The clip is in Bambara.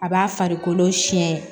A b'a farikolo siɲɛ